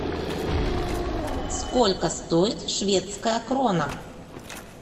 сколько стоит шведская крона